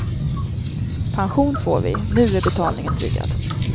Pension får vi, nu är betalningen tryggad.